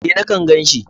E, na gan shi.